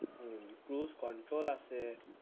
উম cruise control আছে